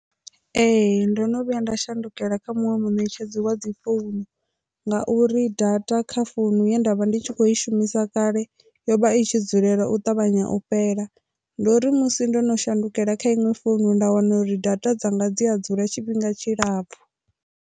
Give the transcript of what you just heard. Ee, ndo no vhuya nda shandukela kha muṅwe munetshedzi wa dzi founu ngauri data kha founu ye nda vha ndi tshi kho i shumisa kale yo vha i tshi dzulela u ṱavhanya u fhela ndo ri musi ndo no shandukela kha inwe founu nda wana uri data dzanga dzi a dzula tshifhinga tshilapfhu.